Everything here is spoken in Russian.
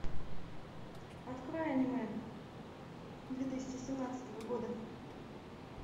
открой аниме две тысячи семнадцатого года